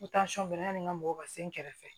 N tansɔn bɛ yanni n ka mɔgɔ ka se n kɛrɛfɛ